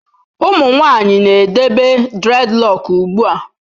Ụmụ nwanyị na-edebe dreadlock ugbu a.